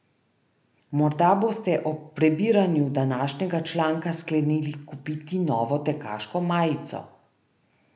Morda boste ob prebiranju današnjega članka sklenili kupiti novo tekaško majico.